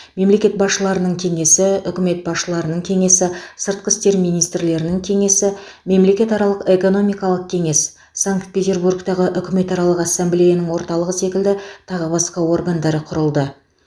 мемлекет басшыларының кеңесі үкімет басшыларының кеңесі сыртқы істер министрлерінің кеңесі мемлекетаралық экономикалық кеңес санкт петербургтағы үкіметаралық ассамблеяның орталығы секілді тағы басқа органдары құрылды